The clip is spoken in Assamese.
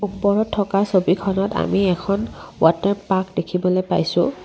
ওপৰত থকা ছবিখনত আমি এখন ৱাতাৰ পাৰ্ক দেখিবলৈ পাইছোঁ।